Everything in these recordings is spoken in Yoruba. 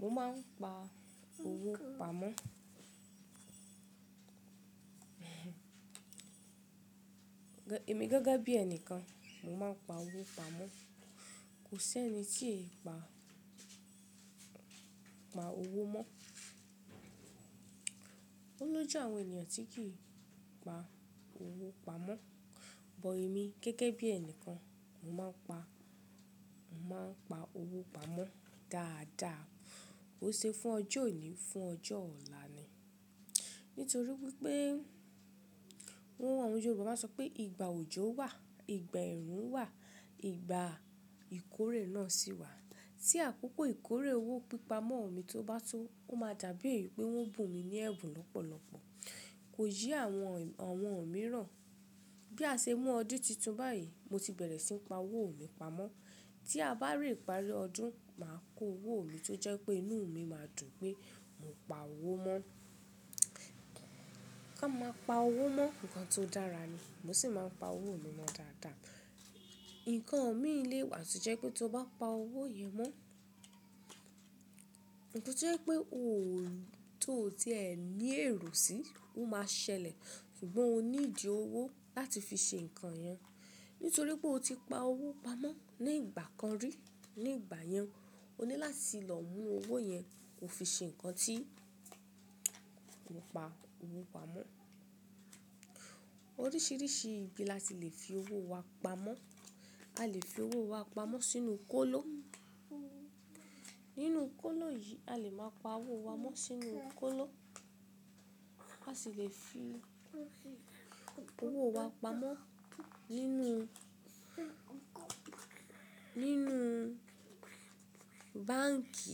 Mo máa ń pa owó pamọ́. Ẹ̀mi gẹ́gẹ́ bí ẹnìkan, mo máa ń pa owó pamọ́. Kò sí ẹni tí ẹ̀ pa owó mọ́. Ó lóju àwọn ènìyàn tí kì í pa owó pamọ́. Bọ̀ èmi gẹ́gẹ́ bí ẹnìkan, mo máa ń pa owó pamọ́ dáadáa. Ó ṣe fún ọjọ́ òní, fún ọjọ́ ọ̀la ni. Nítorí wípé, àwọn Yorùbá máa ń sọ pé ìgbà òjò wà, ìgbà ẹ̀rùn wà, ìgbà ìkórè náà sì wà. Tí àkókò ìkórè owó pípa mọ́ mi tó bá tó, ó máa dàbí èyí pé wọ́n bù mi ní ẹ̀bùn lọ́pọ̀lọ́pọ̀. Kò yé àwọn mìíràn. Bí a ṣe mú ọdún titun báyìí, mo ti bẹ̀rẹ̀ sí ní pa owó mi pamọ́. Tí a bá rí ìparí ọdún, màá kó owó mi tó jẹ́ pé inú mi máa dùn pé mò pa owó mọ́. Ká máa pa owó mọ́ nǹkan tó dára ni. Mo sì máa ń pa owó mi mọ́ dáadáa. Ǹkan mí le wa to jẹ́ pé tí o bá pa owó yìí mọ́, nǹkan tó jẹ́ pé ti o ti ẹ ní èrò sí, ó máa ṣẹlẹ̀. Ṣùgbọ́n o need owó láti fi ṣe ǹkan yẹn. Nítorí pé o ti pa owó pamọ́ ní ìgbà kan rí, ní ìgbà yẹn o ní láti lọ mú owó yẹn ko fi ṣe ǹkan tí ó pa owó pamọ́. Oríṣiríṣi ibi láti lè fi owó wa pamọ́. A lè fi owó wa pamọ́ sínú kóló. Nínú kóló yìí a lè máa pa owó wa mọ́ sínú kóló. A sì lè fi owó wa pamọ́ nínú báǹkì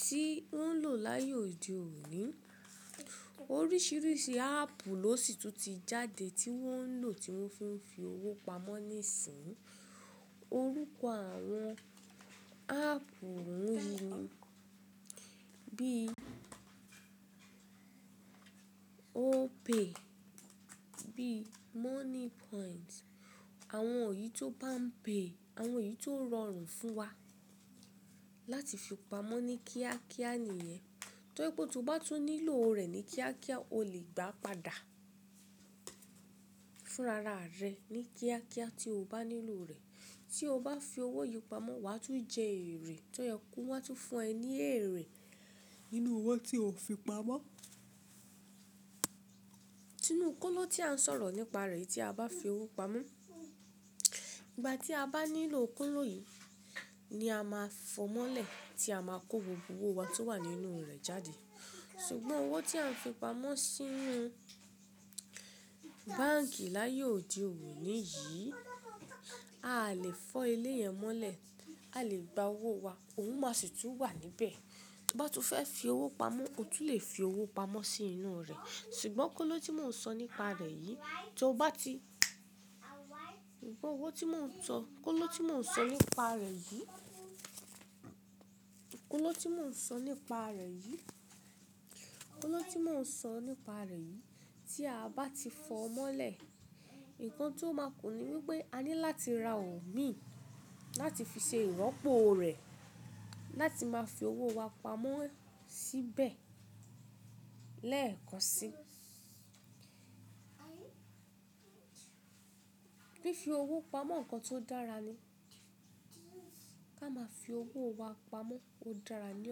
tí wọ́n ń lò láyé òde òní. Oríṣiríṣi áàpù ló sì tún ti jáde tí wọ́n ń lò, tí wọ́n fi ń fi owó pamọ́ nísìínyi. Orúkọ àwọn áàpù wọ́n wí, bí Opay, bí Moneypoint. Àwọn òyi to Palm pay, àwọn òyi tó rọrùn fún wa láti fi pamọ́ ní kíákíá nìyẹn. Tó jẹ pé tó bá tún nílò rẹ̀ ní kíákíá, o lè gbà á padà fún rara rẹ ní kíákíá tí o bá nílò rẹ̀. Tí o bá fi owó yìí pamọ́, wàá tún jẹ èrè. Tọ́yẹ kú, wọ́n á tún fún ẹ ní èrè nínú owó tí o fi pamọ́. Sínú kóló tí a ń sọ̀rọ̀ nípa rẹ̀ tí a bá fi owó pamọ́. Ìgbà tí a bá nílò kóló yìí ni a máa fọ́ mọ́lẹ̀ kí a máa kó gbogbo owó wa tó wà nínú rẹ̀ jáde. Ṣùgbọ́n owó tí a ń fi pamọ́ sínú báǹkì láyé òde òní yìí, a lè fọ́ ilé yẹn mọ́lẹ̀, a lè gba owó wa, ohun máa sì tún wà níbẹ̀. Tó bá tún fẹ́ fi owó pamọ́, o tún lè fi owó pamọ́ sínú rẹ̀. Ṣùgbọ́n kóló tí mò ń sọ nípa rẹ̀ yìí kóló tí mò ń sọ nípa rẹ̀ yìí, kóló tí mò ń sọ nípa rẹ̀ yìí tí a bá ti fọ́ mọ́lẹ̀, ǹkan tó máa kún ni wípé a ní láti ra omi láti fi ṣe ìropọ̀ rẹ̀, láti máa fi owó wa pamọ́ síbẹ̀ lẹ́ẹ̀kan si. Fífi owó pamọ́ ǹkan tó dára ni. Ká máa fi owó wa pamọ́ ó dára ní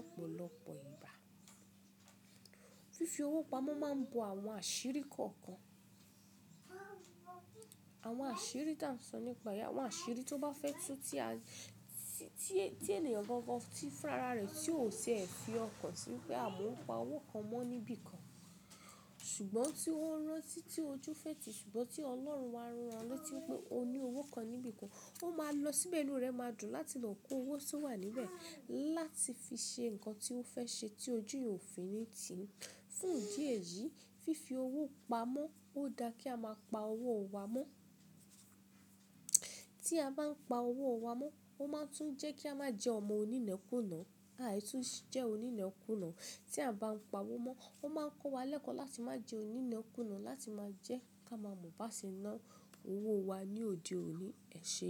ọ̀pọ̀lọpọ̀ ìgbà. Fífi owó pamọ́ máa ń bo àwọn àṣírí kọ̀ọ̀kan. Àwọn àṣírí tí à ń sọ nípa, àwọn àṣírí tó bá fẹ́ tú tí ènìyàn gangan ti fi rara rẹ̀, tí ò ṣe é fi ọkàn sí pé mo pa owó kan mọ́ níbí kan. Ṣùgbọ́n tí ó ń rántí tí ojú fẹ́ tìí, ṣùgbọ́n tí Ọlọ́run máa ń rántí tí pé o ní owó kan níbí kan, ó máa lọ síbẹ̀ inú rẹ máa dùn láti lọ kó owó tí ó wà níbẹ̀ láti fi ṣe ǹkan tí ó fẹ́ ṣe tí ojú òfin ò fi ní tì í. Fún ìdí èyí, fífi owó pamọ́ ó dá kí a máa pa owó wa mọ́. Tí a bá ń pa owó wa mọ́, ó máa tún jẹ́ kí a má jẹ́ ọmọ onínẹ́kúnà. Àì tún jẹ́ onínẹ́kúnà. Tí a bá ń pa owó mọ́, ó máa ń kó wa lẹ́kọ̀ọ́ láti má jẹ́ onínẹ́kúnà láti máa jẹ́ ká máa mọ̀ bá ṣe ná owó wa ní òde òní, è ṣe é.